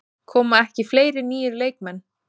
Koma ekki fleiri nýir leikmenn?